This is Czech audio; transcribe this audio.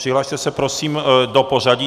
Přihlaste se prosím do pořadí.